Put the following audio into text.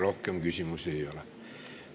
Rohkem küsimusi ei ole.